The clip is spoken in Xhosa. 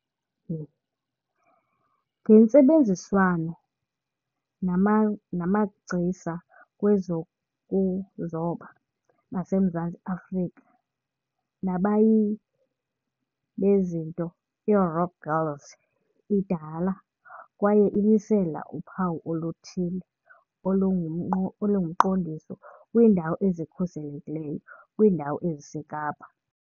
Ngentsebenziswano nama namagcisa kwezokuzoba baseMzantsi Afrika nabayili bezinto, iRock Girl idala kwaye imisela uphawu oluthile elingumqo olungumqondiso "kwiiNdawo eziKhuselekileyo" kwiindawo eziseKapa.